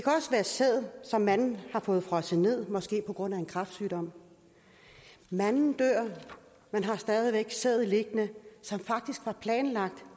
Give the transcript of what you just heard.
sæd som manden har fået frosset ned måske på grund af en kræftsygdom manden dør og man har stadig væk sæd liggende som faktisk var planlagt